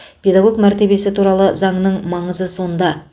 педагог мәртебесі туралы заңның маңызы сонда